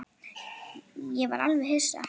Ég var alveg hissa.